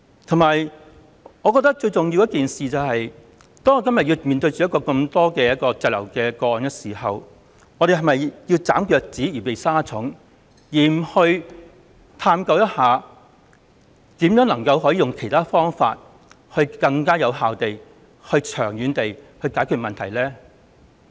此外，我認為最重要的是，我們今天面對如此大量滯留香港的人，是否就要"斬腳趾避沙蟲"而不探究如何利用其他方法，更有效、長遠地解決問題呢？